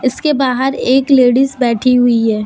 इसके बाहर एक लेडिस बैठी हुई है।